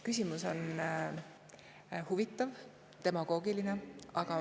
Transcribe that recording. Küsimus on huvitav ja demagoogiline.